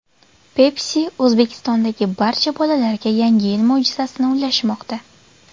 Pepsi O‘zbekistondagi barcha bolalarga Yangi yil mo‘jizasini ulashmoqda.